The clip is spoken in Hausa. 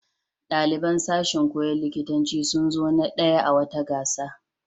Ɗaliban sashin koyon likitanci sun zo na ɗaya a wata gasa.